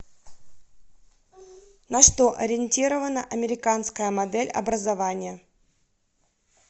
на что ориентирована американская модель образования